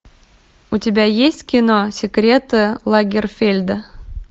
у тебя есть кино секреты лагерфельда